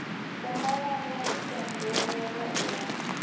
u malana i pembelelwe uya